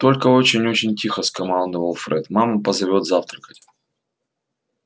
только очень очень тихо скомандовал фред мама позовёт завтракать